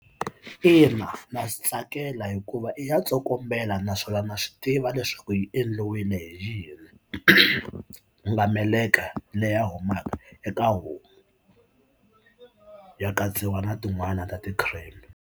Ina na swi tsakela hikuva i ya tsokombela naswona na swi tiva leswaku yi endliwile hi yini ku nga meleka leya humaka eka homu ya katsiwa na tin'wani ta ti-cream.